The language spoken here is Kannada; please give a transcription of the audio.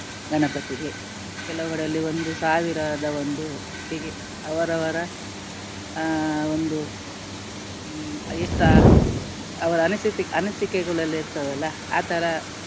ಗಣಪತಿಗೆ ಕೆಲವು ಕಡೆಗಳಲ್ಲಿ ಒಂದು ಸಾವಿರದ ಒಂದು ಹೀಗೆ ಅವರವರ ಅಹ್ ಒಂದು ಹ್ಮ್ ಎಷ್ಟು ಅವರ ಅನಿಸಿತೆ~ ಅನಿಸಿಕೆಗಳೆಲ್ಲವೂ ಇರ್ತವಲ್ಲ ಆಥರ